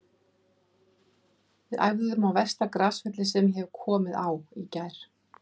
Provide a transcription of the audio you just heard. Við æfðum á versta grasvelli sem ég hef komið á í gær.